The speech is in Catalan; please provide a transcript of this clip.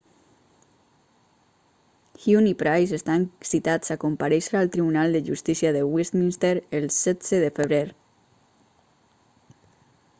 huhne i pryce estan citats a comparèixer al tribunal de justícia de westminster el 16 de febrer